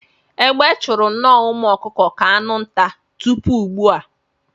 Egbe chụru nnọọ umu ọkụkụ ka anụ nta tupu ugbua.